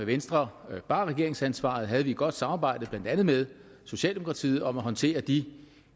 venstre bar regeringsansvaret havde vi et godt samarbejde blandt andet socialdemokratiet om at håndtere de